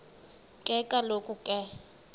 ke kaloku ke